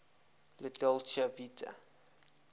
la dolce vita